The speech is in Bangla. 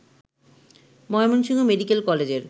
ময়মনসিংহ মেডিকেল কলেজের